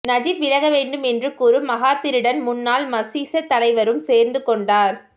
Najib விலக வேண்டும் என்று கூறும் மகாதிருடன் முன்னாள் மசீச தலைவரும் சேர்ந்து கொண்டார்